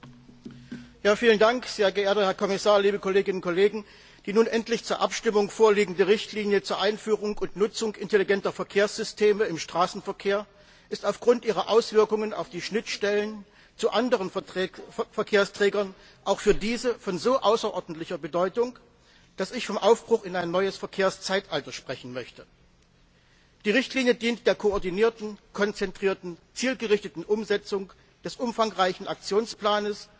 Herr Präsident! Herr Kommissar, liebe Kolleginnen und Kollegen! Die nun endlich zur Abstimmung vorliegende Richtlinie zur Einführung und Nutzung intelligenter Verkehrssysteme im Straßenverkehr ist aufgrund ihrer Auswirkungen auf die Schnittstellen zu anderen Verkehrsträgern auch für diese von so außerordentlicher Bedeutung, dass ich vom Aufbruch in ein neues Verkehrszeitalter sprechen möchte. Die Richtlinie dient der koordinierten konzentrierten zielgerichteten Umsetzung des umfangreichen Aktionsplans